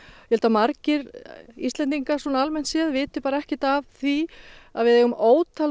ég held að margir Íslendingar almennt viti ekki af því að við eigum ótal